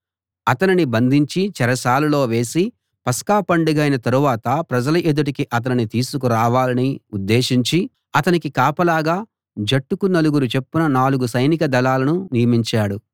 అతనిని బంధించి చెరసాలలో వేసి పస్కా పండగైన తరువాత ప్రజల ఎదుటికి అతనిని తీసుకురావాలని ఉద్దేశించి అతనికి కాపలాగా జట్టుకు నలుగురు చొప్పున నాలుగు సైనిక దళాలను నియమించాడు